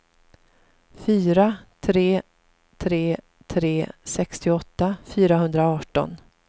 fyra tre tre tre sextioåtta fyrahundraarton